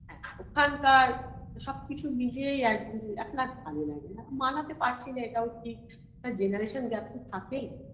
হ্যাঁ ওখানকার সবকিছু মিলিয়েই একদিন এখন আর ভালো লাগেনা মানাতে পারছি না এটাও ঠিক generation gap তো থাকেই